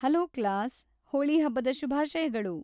Hello class, Holi ಹಬ್ಬದ ಶುಭಾಶಯಗಳು!